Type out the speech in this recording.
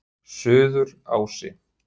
Suðurási